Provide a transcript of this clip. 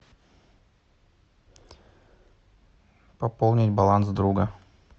пополнить баланс друга